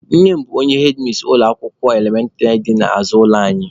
Nne m bụ hedmis ụlọ akwụkwọ elementịrị dị n'azụ ụlọ anyị.